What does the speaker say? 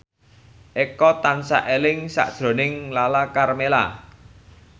Eko tansah eling sakjroning Lala Karmela